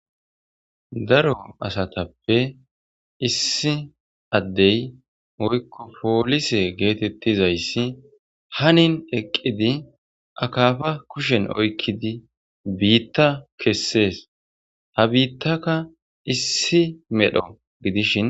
Daro asatappe issi adey woyko polisse gettetizayssi hanin eqqidi akafa kuushshen oyqiddi biitta kesses . Ha biitakka issi medho gidishin